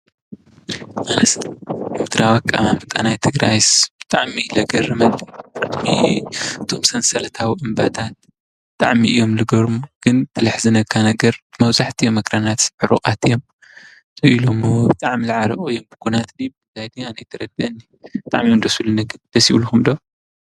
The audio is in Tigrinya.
ካርታዊ አቀማምጣ ናይ ትግራይስ ብጣዕሚ እዩ ዘግርም፤ እቶም ሰንሰለታዊ እምባታት ብጣዕሚ እዮም ዝገርሙ ግን ትዘሕዝነካ ነገር መብዛሕትኦም አክራናትስ ዕሩቋት እዮም፡፡ ብጣዕሚ ዝዓረቁሉ እዮም ኩነት ድዩ ናይ ዂናት አይተረድአኒን ብጣዕሚ እዮም ደስ ዝብሉኒ። ግን ደስ ይብልኩም ዶ?